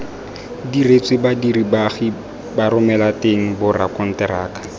diretswe badiri baagi baromelateng borakonteraka